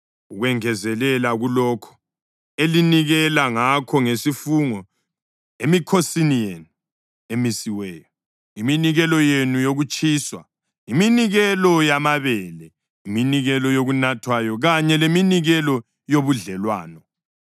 Ukwengezelela kulokho elinikela ngakho ngesifungo loba iminikelo yenu yokuzithandela, nikelani lokhu kuThixo emikhosini yenu emisiweyo: iminikelo yenu yokutshiswa, iminikelo yamabele, iminikelo yokunathwayo kanye leminikelo yobudlelwano.’ ”